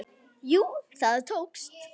Jú, það tókst!